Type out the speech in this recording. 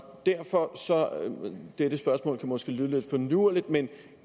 dette spørgsmål kan måske lyde lidt finurligt men